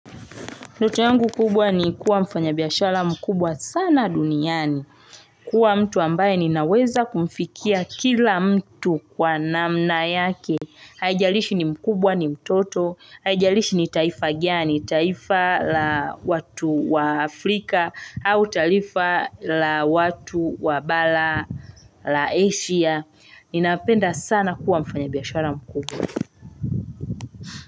Ndoto yangu kubwa ni kuwa mfanya biyashara mkubwa sana duniani. Kuwa mtu ambaye ninaweza kumfikia kila mtu kwa namna yake. Haijalishi ni mkubwa ni mtoto. Hajalishi ni taifa gani taifa la watu wa Afrika au talifa la watu wa Bala la Asia. Ninapenda sana kuwa mfanya biyashara mkubwa.